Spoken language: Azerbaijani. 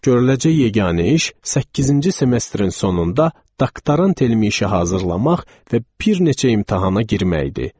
Görüləcək yeganə iş səkkizinci semestrin sonunda doktorant elmi işi hazırlamaq və bir neçə imtahana girmək idi.